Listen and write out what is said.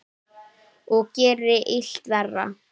Og gerir illt verra.